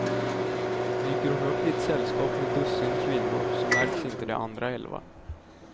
Dyker hon upp i ett sällskap med dussin kvinnor så märks inte de andra elva.